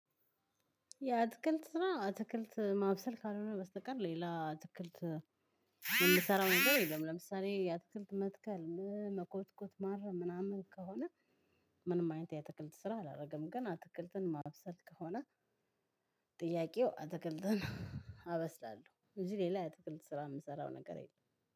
የ አትክልት ስራ አትክልት ማብሰል ካልሆነ በስተቀር ሌላ አትክልት የምሰራው ነገር የለም። ለምሳሌ የአትክልት መትከል መኮትኮት ማረ ምናምን ከሆነ። ምንም አይነት የአትክልት ስራ አላረግም። ግን አትክልትን ማብሰል ከሆነ። ጥያቄው አትክልትን አበስላለሁ እንጂ ሌላ የአትክልት ስራ የምሰራው ነገር የለም።